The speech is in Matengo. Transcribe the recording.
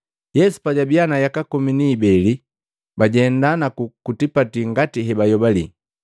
Yesu pajabiya na yaka komi ni mibeli, bajenda naku ku tipati ngati hebayobali.